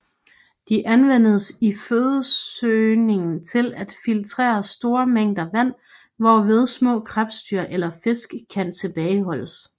De anvendes i fødesøgningen til at filtrere store mængder vand hvorved små krebsdyr eller fisk kan tilbageholdes